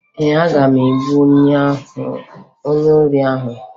Ee, aga m egbu onye ohi ahụ